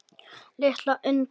Litla undrið.